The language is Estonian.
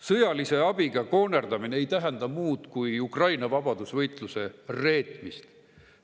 Sõjalise abiga koonerdamine ei tähenda muud kui Ukraina vabadusvõitluse reetmist.